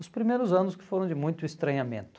Os primeiros anos que foram de muito estranhamento.